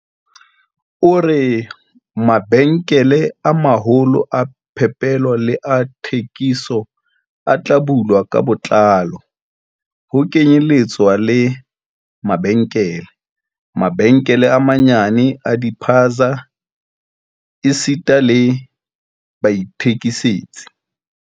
O re, Mabenkele a maholo a phepelo le a thekiso a tla bulwa ka botlalo, ho kenyeletswa le mabenkele, mabenkele a manyenyane a di-spaza esita le baithekisetsi.